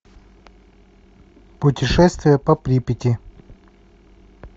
путешествие по припяти